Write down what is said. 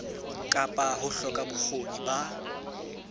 kapa ho hloka bokgoni ba